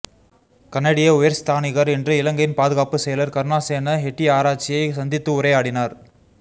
கனேடிய உயர்ஸ்தானிகர் இன்று இலங்கையின் பாதுகாப்பு செயலர் கருணாசேன ஹெட்டியாராச்சியை சந்தித்து உரையாடினார்